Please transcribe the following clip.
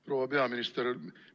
Proua peaminister!